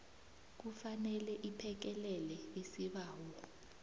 kufanele iphekelele isibawo